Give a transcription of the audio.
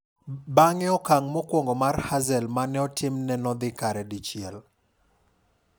Bang'e okang' mokwongo mar Hazel mane otimne no dhi kare dichiel.